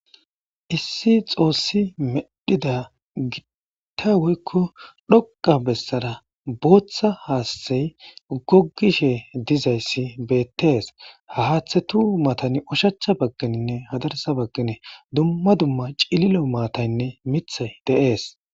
issi xoossi medhida gitta woykko dhoqa bessara booththa haasthay gogishe dizayssi beettees hahaaththetu matani ushacha bagkininne hadarsa bagkane dumma dumma cililo maatayinne mithay de7es